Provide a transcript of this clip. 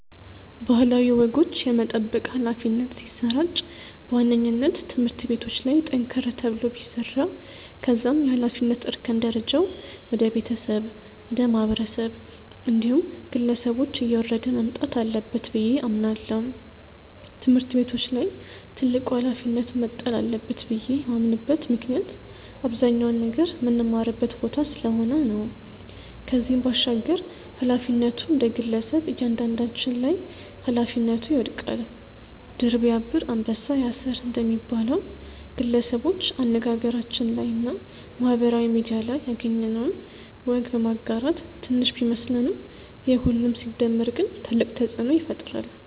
ባህላዊ ወጎች የመጠበቅ ኃላፊነት ሲሰራጭ በዋነኝነት ትምህርት ቤቶች ላይ ጠንከር ተብሎ ቢሰራ ከዛም የኃላፊነት እርከን ደረጃው ወደ ቤተሰብ፣ ወደ ማህበረሰብ እንዲሁም ግለሰቦች እየወረደ መምጣት አለበት ብዬ አምናለው። ትምህርት ቤቶች ላይ ትልቁ ኃላፊነት መጣል አለበት ብዬ የማምንበት ምክንያት አብዛኛውን ነገር ምንማርበት ቦታ ስለሆነ ነው። ከዚህም ባሻገር ኃላፊነቱ እንደግለሰብ እያንዳንዳችን ላይ ኃላፊነቱ ይወድቃል። 'ድር ቢያብር አንበሳ ያስር' እንደሚባለው፣ ግለሰቦች አነጋገራችን ላይ እና ማህበራዊ ሚድያ ላይ ያገኘነውን ወግ በማጋራት ትንሽ ቢመስለንም የሁሉም ሲደመር ግን ትልቅ ተጽእኖ ይፈጥራል።